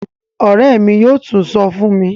Òré mí yóò sí tún sọ fún mi.